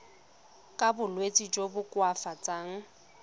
ka bolwetsi jo bo koafatsang